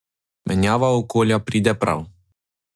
Menjava okolja pride prav.